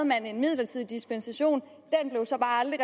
man en midlertidig dispensation som bare aldrig